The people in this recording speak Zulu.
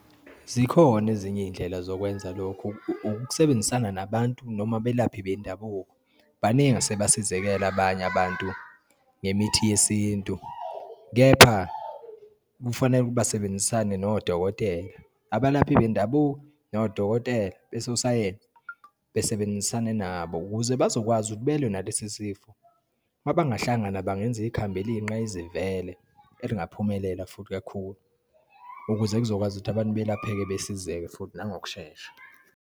Zikhona ezinye iyindlela zokwenza lokhu ukusebenzisana nabantu noma abelaphi bendabuko. Baningi asebasizekele abanye abantu ngemithi yesintu, kepha kufanele ukuthi basebenzisane nodokotela. Abalaphi bendabuko nodokotela besosayensi besebenzisane nabo ukuze bazokwazi ukuthi belwe nalesi sifo. Uma bangahlangana bangenza ikhambi eliyinqayizivele, elingaphumelela futhi kakhulu ukuze kuzokwazi ukuthi abantu belapheke besizeke futhi nangokushesha.